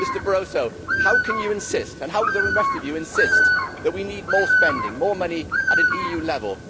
Mr Barroso, how can you insist and how can the rest of you insist that we need more spending and more money at an EU level?